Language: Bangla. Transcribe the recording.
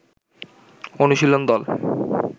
অনুশীলন দল